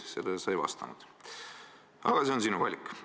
Sellele sa ei vastanud, aga see on sinu valik.